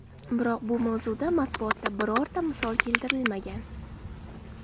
Biroq bu mavzuda matbuotda birorta misol keltirilmagan.